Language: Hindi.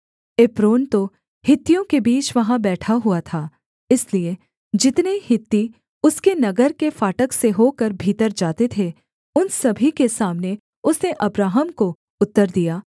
एप्रोन तो हित्तियों के बीच वहाँ बैठा हुआ था इसलिए जितने हित्ती उसके नगर के फाटक से होकर भीतर जाते थे उन सभी के सामने उसने अब्राहम को उत्तर दिया